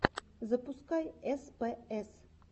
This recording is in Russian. запускай спс